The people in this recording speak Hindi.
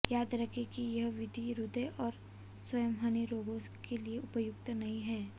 याद रखें कि यह विधि हृदय और संवहनी रोगों के लिए उपयुक्त नहीं है